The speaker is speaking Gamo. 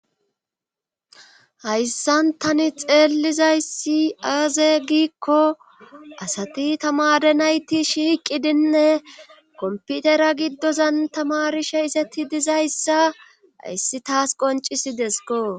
hayssan tani xeellizayssi aaze giikko asati tamare nayti shiiqidinne komputera giddozan tamarishe isetti dizayssa hayssi taas qoncisi desko